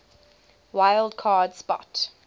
wild card spot